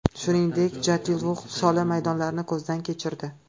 Shuningdek, Jatiluvix sholi maydonlarini ko‘zdan kechirdi.